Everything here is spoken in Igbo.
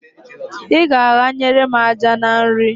I ga-aghanyere m àjà na nri!